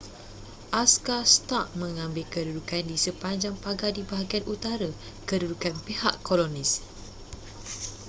askar stark mengambil kedudukan di sepanjang pagar di bahagian utara kedudukan pihak kolonis